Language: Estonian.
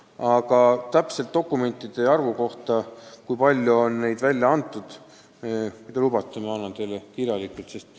Aga kui te lubate, siis täpse arvu, kui palju on neid dokumente välja antud, ma saadan teile kirjalikult.